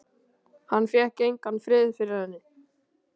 Hann fékk engan frið fyrir henni.